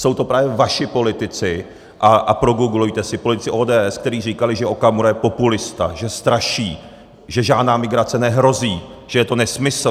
Jsou to právě vaši politici, a progooglujte si politiky ODS, kteří říkali, že Okamura je populista, že straší, že žádná migrace nehrozí, že je to nesmysl.